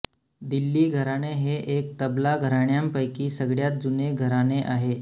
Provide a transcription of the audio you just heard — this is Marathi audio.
दिल्ली घराणे हे एक तबला घराण्यांपैकी सगळ्यात जुने घराणे आहे